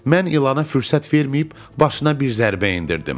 Mən ilana fürsət verməyib başına bir zərbə endirdim.